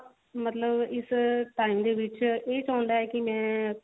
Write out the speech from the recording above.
ਮਤਲਬ ਇਸ time ਦੇ ਵਿੱਚ ਉਹ ਚਾਹੁੰਦਾ ਹੈ ਕਿ ਮੈਂ